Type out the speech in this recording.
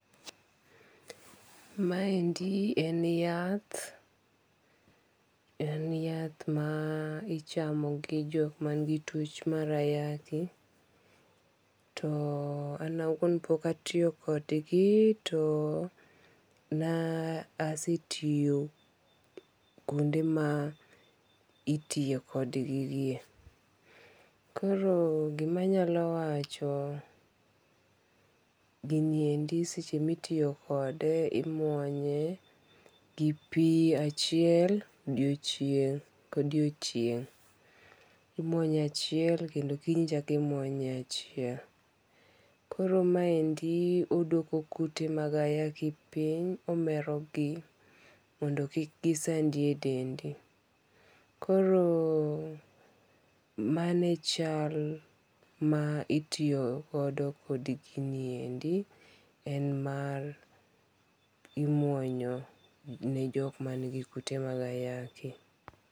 Ma endi en yath en yath ma ichamo gi jok ma ni gi twoch mar ayaki, to an awuon to pok atiyo kod gi to ne asetiyo kuonde ma itiyo kod gigi e.Koro gi ma anyalo wacho, gi ni endi seche mi itiyo kode imuonye gi pi achiel odiechieng ka odiechieng. Imuonye achiel kendo kiny ichako imuonye achiel. Koro ma endi odwoko kute mag ayaki piny, omero gi mondo kik gi sandi e dendi. Koro mano e chal ma itiyo godo kod gini endi en mar imuonyo ne jok man gi kute mag ayaki.